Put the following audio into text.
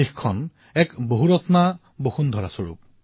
ভাৰতবৰ্ষ এনে অসাধাৰণ লোকৰ জন্মভূমি আৰু কৰ্মভূমি হৈ আহিছে